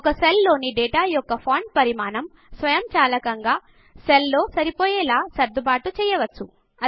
ఒక సెల్ లోని డేటా యొక్క ఫాంట్ పరిమాణం స్వయంచాలకంగా సెల్లో సరిపోయేలా సర్దుబాటు చేయవచ్చు